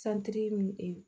santiri min